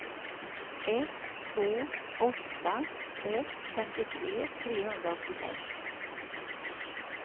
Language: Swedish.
ett två åtta ett femtiotre trehundraåttiosex